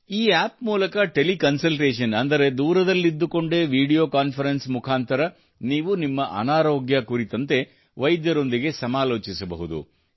ಈ ಆಪ್ ಮೂಲಕ ಟೆಲಿಕನ್ಸಲ್ಟೇಷನ್ ಅಂದರೆ ದೂರದಲ್ಲಿದ್ದುಕೊಂಡೇ ವಿಡಿಯೋ ಕಾನ್ಫರೆನ್ಸ್ ಮುಖಾಂತರ ನೀವು ತಮ್ಮ ಅನಾರೋಗ್ಯ ಕುರಿತಂತೆ ವೈದ್ಯರೊಂದಿಗೆ ಸಮಾಲೋಚಿಸಬಹುದು